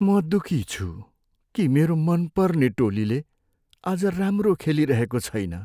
म दुखी छु कि मेरो मनपर्ने टोलीले आज राम्रो खेलिरहेको छैन।